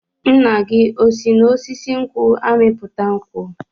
Nna gị o si n'osisi nkwụ amịta nkwụ?